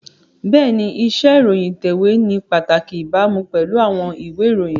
Bẹ́ẹ̀ni, iṣẹ́ ìròyìn ìtẹ̀wé ní pàtàkì ìbámu pẹ̀lú àwọn ìwé ìròyìn